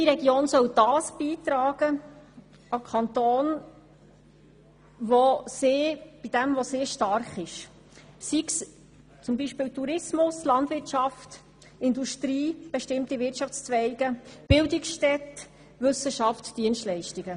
Jede Region soll das an den Kanton beitragen, worin sie stark ist, sei das nun Tourismus, Landwirtschaft, Industrie, bestimmte Wirtschaftszweige, Bildungsstätten, Wissenschaft oder Dienstleistungen.